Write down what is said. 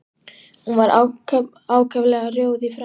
Og hún var ákaflega rjóð í framan.